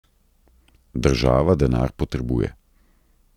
Država denar potrebuje.